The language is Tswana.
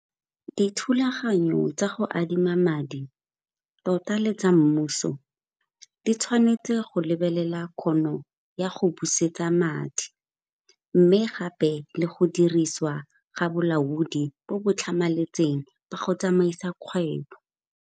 Dithulaganyo tsa go adima madi, tota le tsa mmuso, di tshwanetse go lebelela kgono ya go busetsa madi mme gape le go dirisiwa ga bolaodi bo bo tlhamaletseng ba go tsamaisa kgwebo.